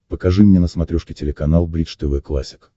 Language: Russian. покажи мне на смотрешке телеканал бридж тв классик